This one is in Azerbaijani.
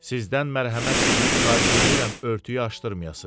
Sizdən mərhəmət diləyib xahiş eləyirəm örtüyü açdırmayasız.